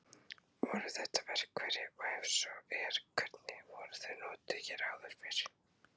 Voru þetta verkfæri og ef svo er hvernig voru þau notuð hér áður fyrr?